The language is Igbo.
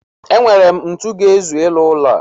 E nwere m ntu ga-ezu ịrụ ụlọ a.